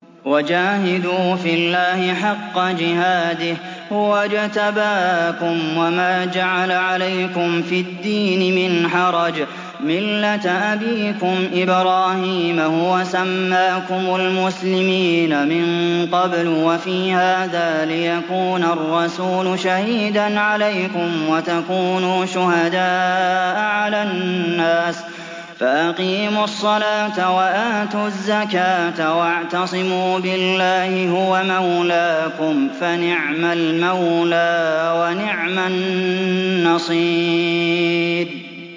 وَجَاهِدُوا فِي اللَّهِ حَقَّ جِهَادِهِ ۚ هُوَ اجْتَبَاكُمْ وَمَا جَعَلَ عَلَيْكُمْ فِي الدِّينِ مِنْ حَرَجٍ ۚ مِّلَّةَ أَبِيكُمْ إِبْرَاهِيمَ ۚ هُوَ سَمَّاكُمُ الْمُسْلِمِينَ مِن قَبْلُ وَفِي هَٰذَا لِيَكُونَ الرَّسُولُ شَهِيدًا عَلَيْكُمْ وَتَكُونُوا شُهَدَاءَ عَلَى النَّاسِ ۚ فَأَقِيمُوا الصَّلَاةَ وَآتُوا الزَّكَاةَ وَاعْتَصِمُوا بِاللَّهِ هُوَ مَوْلَاكُمْ ۖ فَنِعْمَ الْمَوْلَىٰ وَنِعْمَ النَّصِيرُ